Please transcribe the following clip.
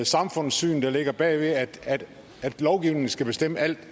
samfundssyn der ligger bag ved at lovgivningen skal bestemme alt